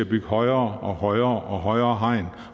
bygge højere og højere og højere hegn